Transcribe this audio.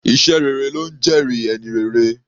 Iṣẹ́ rere ló ńjẹ́ẹ̀rí ẹni rere.